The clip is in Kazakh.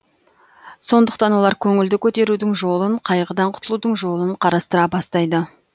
сондықтан олар көңілді көтерудің жолын қайғыдан құтылудың жолын қарастыра бастайды